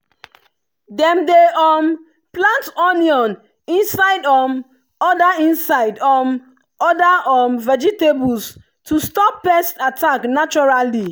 dem dey um plant onion inside um other inside um other um vegetables to stop pests attack naturally.